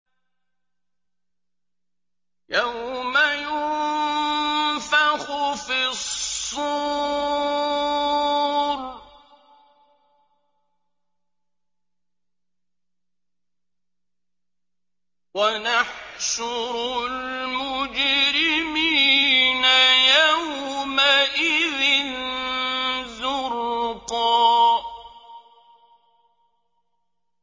يَوْمَ يُنفَخُ فِي الصُّورِ ۚ وَنَحْشُرُ الْمُجْرِمِينَ يَوْمَئِذٍ زُرْقًا